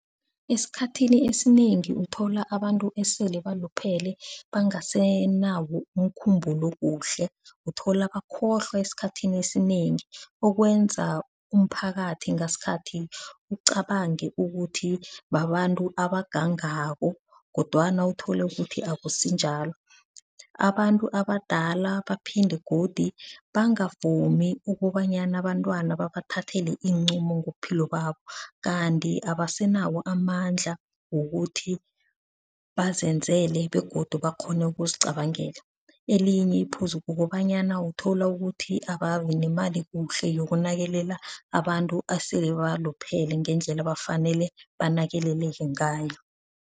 Esikhathini esinengi uthola abantu esele baluphele bangasenawo umkhumbulo kuhle, uthola bakhohlwa esikhathini esinengi okwenza umphakathi ngasikhathi ucabange ukuthi babantu abagangako kodwana uthole ukuthi akusinjalo. Abantu abadala baphinde godu bangavumi ukobanyana abantwana babathathela iinqumo ngobuphilo babo, kanti abasenawo amandla wokuthi bazenzele begodu bakghone ukuzicabangela. Elinye iphuzu kukobanyana uthola ukuthi ababinemali kuhle yokunakelela abantu asele baluphele ngendlela abafanele banakeleleke ngayo.